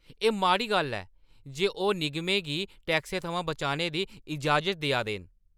एह् माड़ी गल्ल ऐ जे ओह् निगमें गी टैक्सें थमां बचने दी इजाज़त देआ दे न।